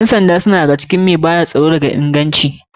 Ƴan sanda suna ɗaya da ga cikin masu bada tsaro mai inganci.